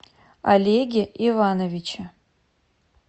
олеге ивановиче